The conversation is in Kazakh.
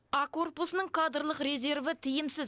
а корпусының кадрлық резерві тиімсіз